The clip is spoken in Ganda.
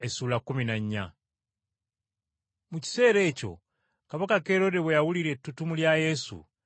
Mu kiseera ekyo Kabaka Kerode bwe yawulira ettutumu lya Yesu